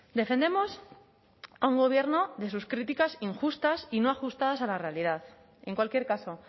defendemos a un gobierno de sus críticas injustas y no ajustadas a la realidad en cualquier caso